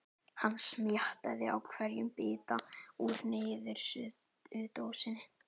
Hann smjattaði á hverjum bita úr niðursuðudósinni.